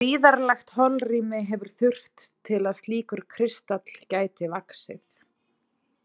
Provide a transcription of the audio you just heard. Gríðarlegt holrými hefur þurft til að slíkur kristall gæti vaxið.